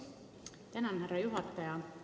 Tänan, härra juhataja!